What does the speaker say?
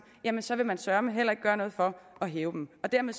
jamen så vil man søreme heller ikke gøre noget for at hæve dem dermed